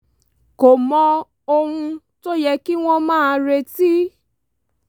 kò mọ ohun tó yẹ kí wọ́n máa retí